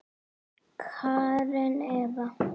Karen Eva.